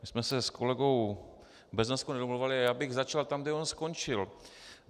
My jsme se s kolegou Beznoskou nedomlouvali, ale já bych začal tam, kde on skončil.